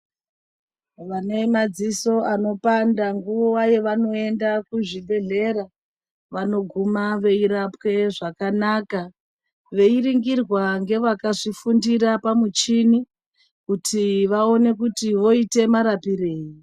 Vane madziso anopanda nguwa yevanoenda kuzvibhedhlera vanoguma veirapwe zvakanaka, veiringirwa ngevakazvifundira pamuchini kuti vaone kuti voite marapirei.